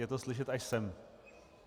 Je to slyšet až sem!